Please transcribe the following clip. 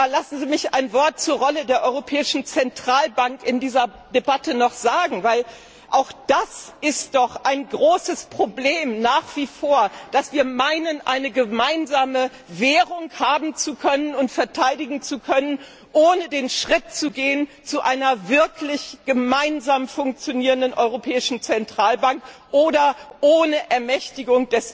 Lassen Sie mich noch ein Wort zur Rolle der Europäischen Zentralbank in dieser Debatte sagen Auch das ist doch nach wie vor ein großes Problem, dass wir meinen, eine gemeinsame Währung haben und verteidigen zu können, ohne den Schritt zu gehen zu einer wirklich gemeinsam funktionierenden Europäischen Zentralbank oder ohne Ermächtigung